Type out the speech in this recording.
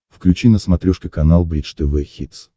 включи на смотрешке канал бридж тв хитс